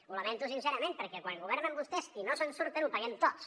ho lamento sincerament perquè quan governen vostès i no se’n surten ho paguem tots